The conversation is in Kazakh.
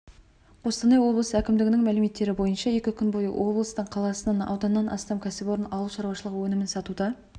қостанай облысы әкімдігінің мәліметтері бойынша екі күн бойы облыстың қаласынан ауданнан астам кәсіпорын ауыл шаруашылығы өнімін сатуда